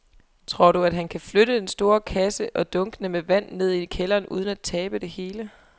Tror du, at han kan flytte den store kasse og dunkene med vand ned i kælderen uden at tabe det hele?